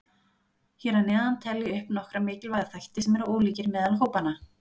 Hér að neðan tel ég upp nokkra mikilvæga þætti sem eru ólíkir meðal hópanna.